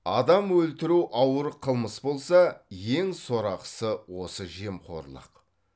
адам өлтіру ауыр қылмыс болса ең сорақысы осы жемқорлық